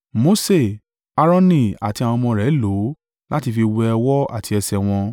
Mose, Aaroni àti àwọn ọmọ rẹ̀ lò ó láti fi wẹ ọwọ́ àti ẹsẹ̀ wọn.